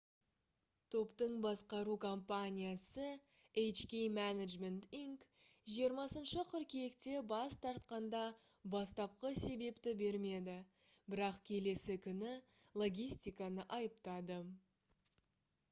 топтың басқару компаниясы hk management inc 20 қыркүйекте бас тартқанда бастапқы себепті бермеді бірақ келесі күні логистиканы айыптады